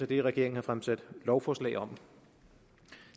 det regeringen har fremsat lovforslag om